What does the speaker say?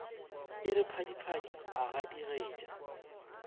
e re phadiphadi a gadigetša